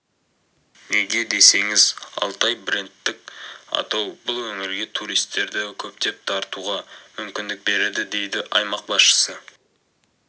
неге десеңіз алтай брендтіқ атау бұл өңірге туристерді көптеп тартуға мүмкіндік береді деді аймақ басшысы